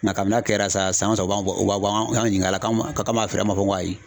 Nga kabini a kɛra sa san o san o b'an o b'an ɲining'a la k'an m'a feere a ma fɔ ko ayi .